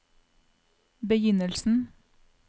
begynnelsen